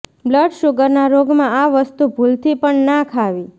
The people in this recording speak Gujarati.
બ્લડ શુગરના રોગમાં આ વસ્તુ ભૂલથી પણ ના ખાવી